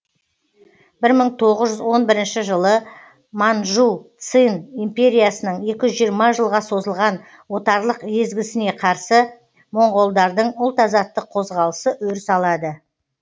бір мың тоғыз жүз он бірінші жылы манжу цин империясының екі жүз жиырма жылға созылған отарлық езгісіне қарсы моңғолдардың ұлт азаттық қозғалысы өріс алады